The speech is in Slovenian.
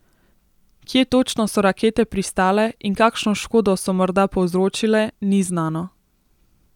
Kje točno so rakete pristale in kakšno škodo so morda povzročile, ni znano.